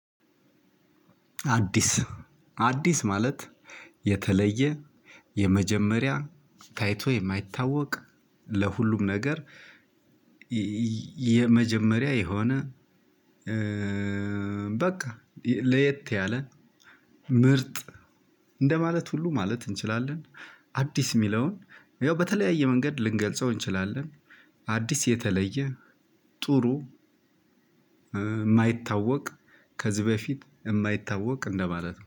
አዲስ አዲስ ማለት የተለየ የመጀመሪያ ታይቶ የማይታወቅ ለሁሉም ነገር: የመጀመሪያ የሆነ በቃ ለየት ያለ ምርጥ እንደማለት ሁሉ ማለት እንችላለን። አዲስ ሚለውን ያው በተለያየ መንገድ ልንገልጸው እንችላለን። አዲስ የተለየ ጥሩ ማይታወቅ ከዚህ በፊት የማይታወቅ እንደማለት ነው።